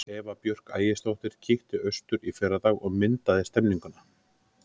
Eva Björk Ægisdóttir kíkti austur í fyrradag og myndaði stemmninguna.